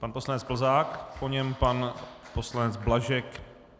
Pan poslanec Plzák, po něm pan poslanec Blažek.